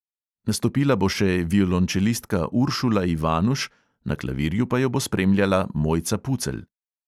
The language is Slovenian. Nastopila bo še violončelistka uršula ivanuš, na klavirju pa jo bo spremljala mojca pucelj.